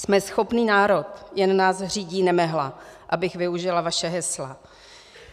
Jsme schopný národ, jen nás řídí nemehla, abych využila vaše hesla.